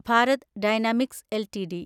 Bharat Dynamics LTD